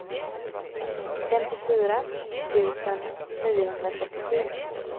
femtiofyra tusen niohundratrettiosju